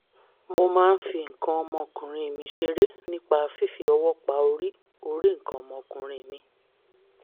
mo máa ń fi nǹkan ọmọkùnrin mi ṣeré nípa fífi ọwọ́ pa orí orí nǹkan ọmọkùnrin mi